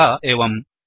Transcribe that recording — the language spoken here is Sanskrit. अतः एवम्